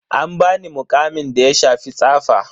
An bani muƙamin da ya shafi tsafa.